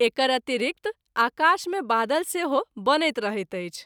एकर अतिरिक्त आकाश मे बादल सेहो बनैत रहैत अछि।